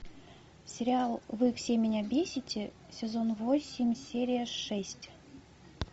сериал вы все меня бесите сезон восемь серия шесть